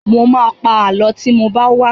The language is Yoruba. Mo ma pa Àlọ́ tí mo bá wá